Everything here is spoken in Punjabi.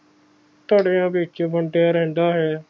ਧੜਿਆਂ ਵਿਚ ਹੁੰਦਾ ਰਹਿੰਦਾ ਹੈ